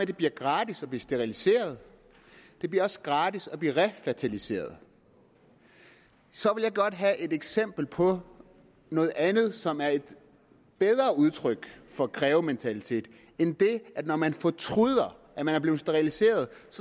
det bliver gratis at blive steriliseret det bliver også gratis at blive refertiliseret så vil jeg godt have et eksempel på noget andet som er et bedre udtryk for krævementalitet end det at når man fortryder at man er blevet steriliseret